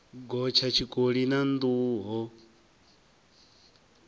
gotsha tshikoli na nḓuhu ho